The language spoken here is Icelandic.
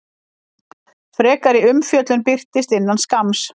Frekari umfjöllun birtist innan skamms.